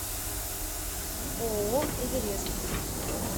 ооо эверест